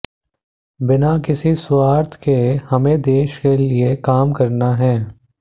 बिना किसी स्वार्थ के हमें देश के लिए काम करना है